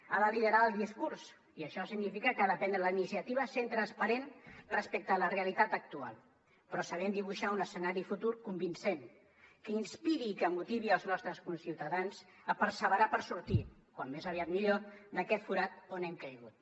ha de liderar el discurs i això significa que ha de prendre la iniciativa sent transparent respecte a la realitat actual però sabent dibuixar un escenari futur convincent que inspiri i que motivi els nostres conciutadans a perseverar per sortir com més aviat millor d’aquest forat on hem caigut